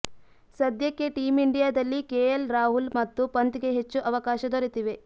ಸದ್ಯಕ್ಕೆ ಟೀಮ್ ಇಂಡಿಯಾದಲ್ಲಿ ಕೆಎಲ್ ರಾಹುಲ್ ಮತ್ತು ಪಂತ್ಗೆ ಹೆಚ್ಚು ಅವಕಾಶ ದೊರೆತಿವೆ